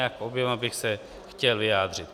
K oběma bych se chtěl vyjádřit.